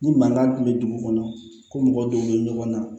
Ni mankan kun bɛ dugu kɔnɔ ko mɔgɔ dɔw bɛ ɲɔgɔn na